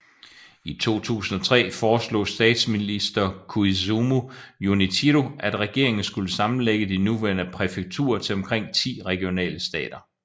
I 2003 foreslog statsminister Koizumi Junichiro at regeringen skulle sammenlægge de nuværende præfekturer til omkring 10 regionale stater